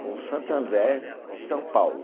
com Santo André e São Paulo.